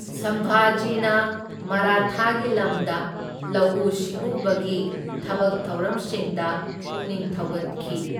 ꯁꯝꯚꯥꯖꯤꯅ ꯃꯔꯥꯊꯥꯒꯤ ꯂꯝꯗ ꯂꯧꯎ ꯁꯤꯡꯎꯕꯒꯤ ꯊꯕꯛ ꯊꯧꯔꯝꯁꯤꯡꯗ ꯄꯨꯛꯅꯤꯡ ꯊꯧꯒꯠꯈꯤ꯫